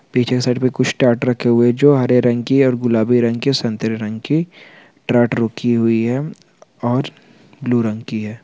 पीछे साइड पे कुछ टाट रखे हुए जो हरे रंग की और गुलाबी रंग की संतरे रंग की ट्राट रखी हुई है और ब्लू रंग की है।